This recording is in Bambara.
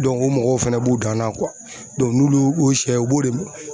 o mɔgɔw fana b'u dan na n'olu y'u siyɛw u b'o de